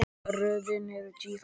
Röðin er tíu þættir.